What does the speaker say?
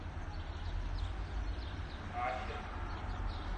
ахен